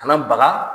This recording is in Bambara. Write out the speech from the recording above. Kana baga